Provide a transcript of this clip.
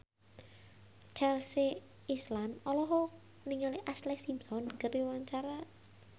Chelsea Islan olohok ningali Ashlee Simpson keur diwawancara